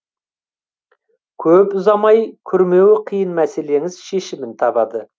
көп ұзамай күрмеуі қиын мәселеңіз шешімін табады